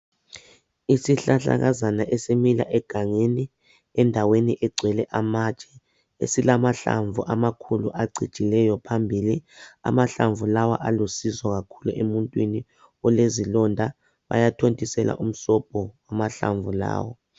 Isihlahlakazana esimila egangeni endaweni egcwele amatshe esilamahlamvu amakhulu acijileyo phambili amahlamvu lawa alusizo kakhulu emuntwini olezilonda bayathontisela umsobho wamahlamvu lawa.